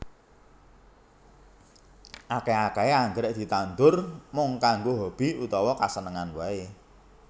Akèh akèhé anggrèk ditandur mung kanggo hobi utawa kasenengan waé